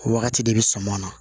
O wagati de bɛ suman na